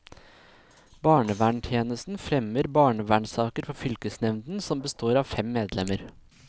Barneverntjenesten fremmer barnevernsaker for fylkesnevnden, som består av fem medlemmer.